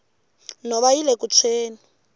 nhova yile ku tshweni